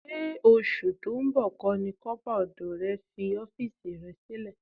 Ṣé oṣù tó ń bọ̀ kọ́ ni kọ́pà ọdọ rẹ fi ọ́fíìsì rẹ sílẹ̀?